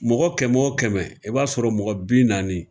Mɔgɔ kɛmɛ o kɛmɛ, i b'a sɔrɔ mɔgɔ bin naani